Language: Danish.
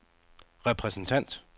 repræsentant